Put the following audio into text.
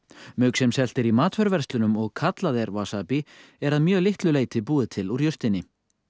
mauk sem selt er í matvöruverslunum og kallað er er að mjög litlu leyti búið til úr jurtinni